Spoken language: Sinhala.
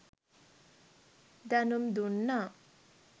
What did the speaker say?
දැනුම්දුන්නා.